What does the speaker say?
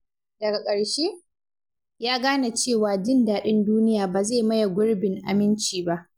Daga ƙarshe, ya gane cewa jin daɗin duniya ba zai maye gurbin aminci ba.